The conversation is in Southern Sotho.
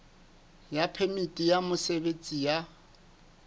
ya phemiti ya mosebetsi ya